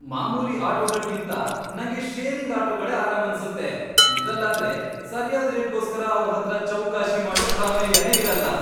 ಮಾಮೂಲಿ ಆಟೋಗಳ್ಗಿಂತ, ನಂಗೆ ಶೇರಿಂಗ್ ಆಟೋಗಳೇ ಆರಾಮನ್ಸತ್ತೆ, ಇದ್ರಲ್ಲಾದ್ರೆ ಸರ್ಯಾದ್ ರೇಟ್ಗೋಸ್ಕರ ಅವ್ರ್ ಹತ್ರ ಚೌಕಾಶಿ ಮಾಡೋ ಪ್ರಮೇಯನೇ ಇರಲ್ಲ.